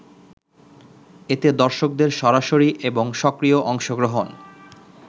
এতে দর্শকদের সরাসরি এবং সক্রিয় অংশগ্রহণ